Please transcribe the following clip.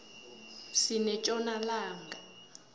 sinetjona langa